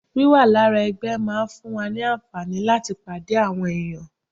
Wíwà lára ẹgbẹ́ máa ń fún wa ní àǹfààní láti pàdé àwọn èèyàn